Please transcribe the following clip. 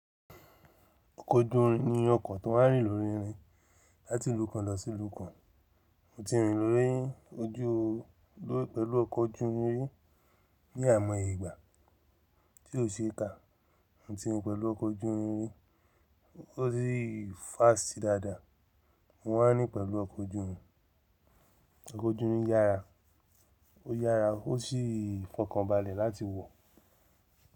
Ọkọ̀ ojú irin ni ọkọ̀ tó máa ń rìn lórí irin láti ìlú kan lọ sí ìlú kan. Mo ti ń rìn lórí ojú o pẹ̀lú ọkọ̀ ojú irin ri ní àyimọ́ye ìgbà tí ó ṣe é kà. Mo ti rìn pẹ̀lú ọkọ̀ ojú irin ri, ó sì fást dáadáa. Mo maá n rín pẹ̀lú ọkọ̀ ojú irin. Ọkọ̀ ojú irin yára ó yára ó sì fọkànbalẹ̀ láti wọ̀.